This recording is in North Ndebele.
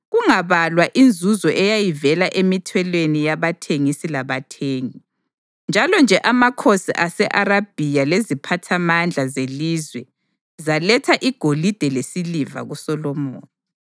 kungabalwa inzuzo eyayivela emithelweni yabathengisi labathengi. Kunjalo-nje amakhosi ase-Arabhiya leziphathamandla zelizwe zaletha igolide lesiliva kuSolomoni.